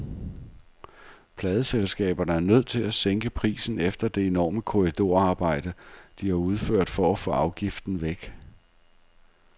Pladeselskaberne er nødt til at sænke prisen efter det enorme korridorarbejde, de har udført for at få afgiften væk.